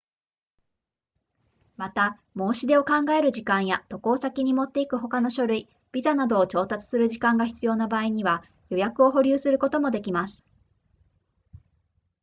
また申し出を考える時間や渡航先に持っていく他の書類ビザなどを調達する時間が必要な場合には予約を保留することもできます